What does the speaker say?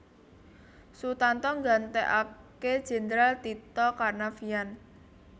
Sutanto nggantekake Jendral Tito Karnavian